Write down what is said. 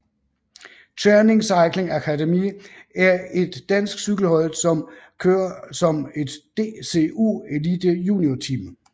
Tscherning Cycling Academy er et dansk cykelhold som kører som et DCU Elite juniorteam